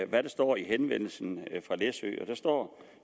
der står i henvendelsen fra læsø og der står